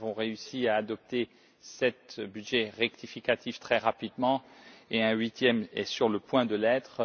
Nous avons réussi à adopter sept budgets rectificatifs très rapidement et un huitième est sur le point de l'être.